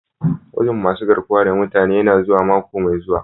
Gwajin masun garkuwa da mutane yana zuwa mako mai zuwa.